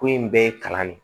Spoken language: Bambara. Ko in bɛɛ ye kalan de ye